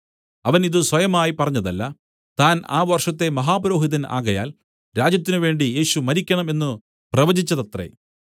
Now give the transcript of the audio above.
അവൻ ഇതു സ്വയമായി പറഞ്ഞതല്ല താൻ ആ വർഷത്തെ മഹാപുരോഹിതൻ ആകയാൽ രാജ്യത്തിന് വേണ്ടി യേശു മരിക്കണം എന്നു പ്രവചിച്ചതത്രേ